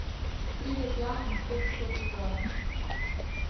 Pride tja in spet skoči gor.